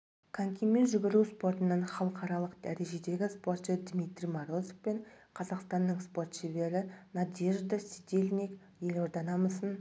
конькимен жүгіру спортынан халықаралық дәрежедегі спортшы дмитрий морозов пен қазақстанның спорт шебері надежда сидельник елорда намысын